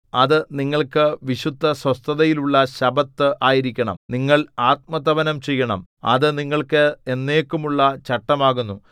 അത് നിങ്ങൾക്ക് വിശുദ്ധസ്വസ്ഥതയുള്ള ശബ്ബത്ത് ആയിരിക്കണം നിങ്ങൾ ആത്മതപനം ചെയ്യണം അത് നിങ്ങൾക്ക് എന്നേക്കുമുള്ള ചട്ടമാകുന്നു